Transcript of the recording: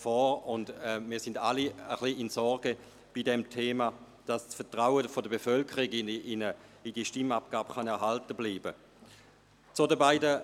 Wir sind bei diesem Thema alle ein wenig in Sorge, dass das Vertrauen der Bevölkerung in diese Stimmabgabe erhalten bleiben kann.